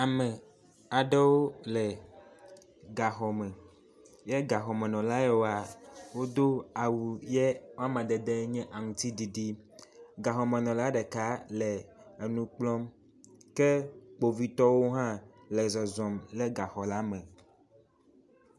Ame aɖewo le gaxɔme ye gaxɔmenɔla yawo wodo awu yi amadede nye aŋtiɖiɖi. Gaxɔmenɔla ɖeka le enu kplɔm ke kpovitɔwo hã le zɔzɔm le gaxɔ la me.